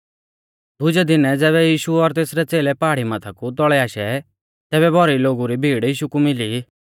दुजै दीनै ज़ैबै यीशु और तेसरै च़ेलै पहाड़ी माथा कु तौल़ै आशै तैबै भौरी लोगु री भीड़ यीशु कु मिली